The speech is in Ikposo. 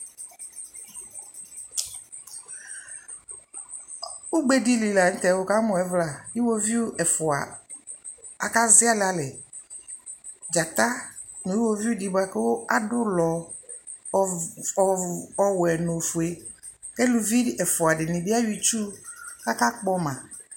Ugbe dɩlɩ lanutɛ dzata nʊ iwoviu dɩ buaku adʊ ʊlɔ ɔwɛ nʊ ofue aka ziali alɛ kʊ elʊvɩ ɛfʊadɩ lanʊtɛ ayɔ ɩtsʊ kʊ aka kpɔma